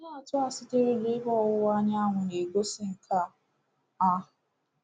Ihe atụ a sitere n’Ebe Ọwụwa Anyanwụ na-egosi nke a. a.